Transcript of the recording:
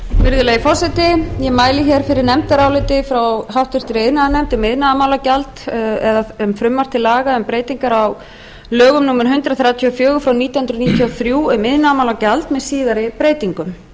virðulegi forseti ég mæli fyrir nefndaráliti frá háttvirtri iðnaðarnefnd um frumvarp til laga um breyting á lögum númer hundrað þrjátíu og fjögur nítján hundruð níutíu og þrjú um iðnaðarmálagjald með síðari breytingum